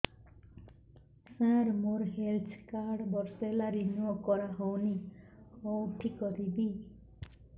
ସାର ମୋର health card ବର୍ଷେ ହେଲା ରିନିଓ କରା ହଉନି କଉଠି କରିବି